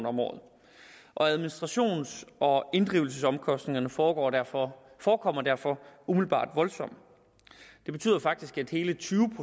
om året administrations og inddrivelsesomkostningerne forekommer derfor forekommer derfor umiddelbart voldsomme det betyder faktisk at hele tyve